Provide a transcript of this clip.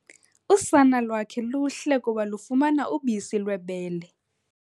Usana lwakhe luhle kuba lufumana ubisi lwebele.